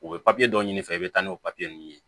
U bɛ dɔ ɲini i fɛ i bɛ taa n'o nunnu ye